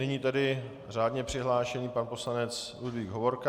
Nyní tedy řádně přihlášený pan poslanec Ludvík Hovorka.